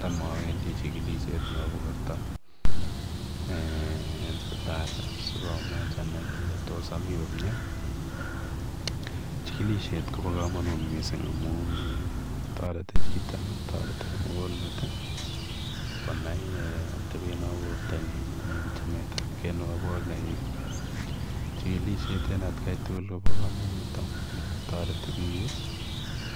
Tam awendi chikilisiet nebo borto en sipitali sikomuch again kole amii komie chikilisiet kobo komonut missing amun toreti chito ala kimukul met I konai atabet nebo bortanyi anan chametab kei nebo borr nenyin chikilisiet en otkaen tukul kobo komonut amun toreti biik